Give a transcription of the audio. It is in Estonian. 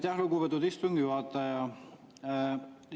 Aitäh, lugupeetud istungi juhataja!